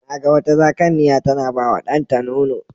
Na ga wata Zakanniya tana bawa ɗanta nono.